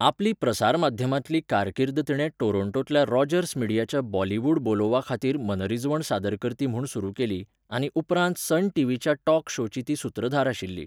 आपली प्रसारमाध्यमांतली कारकीर्द तिणे टोरोण्टोंतल्या रॉजर्स मिडियाच्या बॉलिवूड बोलोव्हाखातीर मनरिजवण सादरकर्ती म्हूण सुरू केली, आनी उपरांत सन टीव्हीच्या टॉक शोची ती सुत्रधार आशिल्ली.